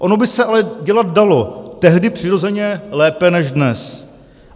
Ono by se ale dělat dalo, tehdy přirozeně lépe než dnes.